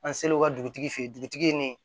An selen o ka dugutigi fɛ yen dugutigi nin